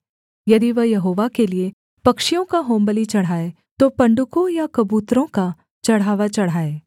यदि वह यहोवा के लिये पक्षियों का होमबलि चढ़ाए तो पंडुको या कबूतरों का चढ़ावा चढ़ाए